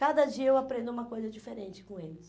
Cada dia eu aprendo uma coisa diferente com eles.